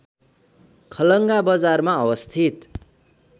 खलङ्गा बजारमा अवस्थित